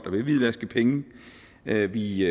vil hvidvaske penge vi vi